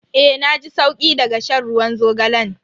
Eh na ji sauki daga shan ruwan zogalan.